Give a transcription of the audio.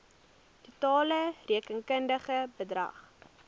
totale rekenkundige bedrag